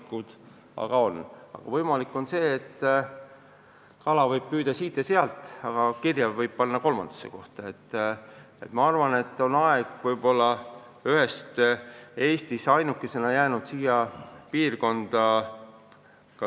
Praktiliselt aga on võimalik see, et kala võib püüda siit ja sealt, ent kirja võib selle panna kolmandasse kohta.